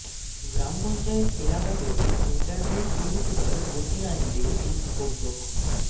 গ্রাম পঞ্চায়েত এলাকাতেও ইন্টারনেট পরিষেবায় গতি আনবে এই উপগ্রহ